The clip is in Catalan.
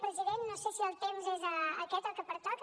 president no sé si el temps és aquest el que pertoca